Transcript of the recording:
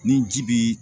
Ni ji bi